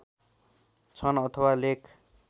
छन् अथवा लेख